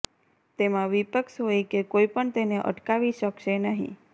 તેમાં વિપક્ષ હોય કે કોઇપણ તેને અટકાવી શકશે નહી